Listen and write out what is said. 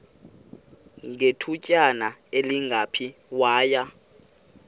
ngethutyana elingephi waya